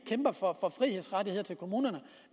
kæmper for frihedsrettigheder til kommunerne